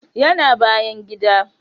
Yana bayan gida